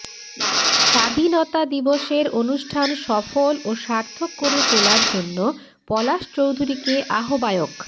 স্বাধীনতা দিবসের অনুষ্ঠান সফল ও সার্থক করে তোলার জন্য পলাশ চৌধুরীকে আহবায়ক